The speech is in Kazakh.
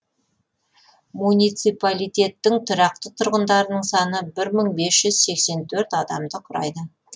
муниципалитеттің тұрақты тұрғындарының саны бір мың бес жүз сексен төрт адамды құрайды